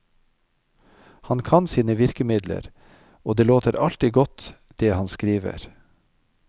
Han kan sine virkemidler, og det låter alltid godt det han skriver.